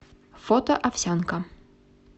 фото овсянка